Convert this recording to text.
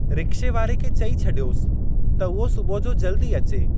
रिक्शेवारे खे चई छड॒योसि त उहो सुबुह जो जल्दी अचे।